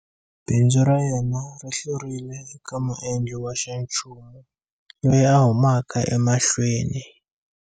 Bindzu ra yena ri hlurile eka muendli wa xanchumu loyi a humaka emahlweni.